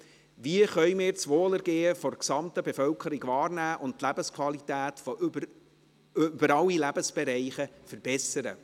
Wie können wir das Wohlergehen der gesamten Bevölkerung wahrnehmen und die Lebensqualität über alle Lebensbereiche verbessern?